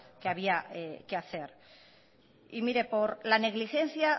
que había que hacer y mire por la negligencia